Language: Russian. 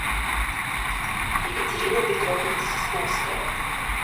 екатерина петровна сосновская